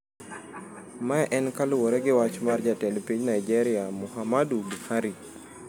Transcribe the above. Mae en kaluwore gi wach mar Jatend Piny Naijeria Muhammadu Buhari.